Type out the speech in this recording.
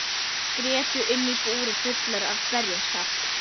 Grétu inni í búri fullar með berjasaft.